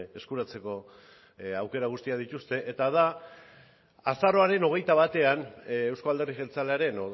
eskuratzeko aukera guztiak dituzte eta da azaroaren hogeita batean euzko alderdi jeltzalearen